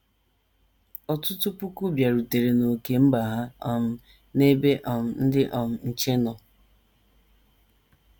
Ọtụtụ puku bịarutere n’ókè mba ha um n’ebe um ndị um nche nọ.